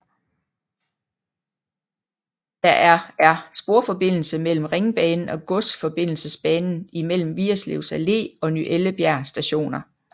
Der er er sporforbindelse imellem Ringbanen og Godsforbindelsesbanen imellem Vigerslev Allé og Ny Ellebjerg Stationer